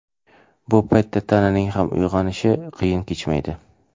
Bu paytda tananing ham uyg‘onishi qiyin kechmaydi.